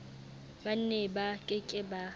ba neba ke ke ba